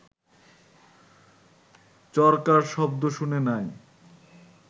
চরকার শব্দ শুনে নাই